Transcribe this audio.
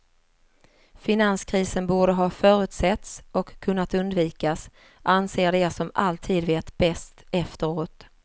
Finanskrisen borde ha förutsetts och kunnat undvikas, anser de som alltid vet bäst efteråt.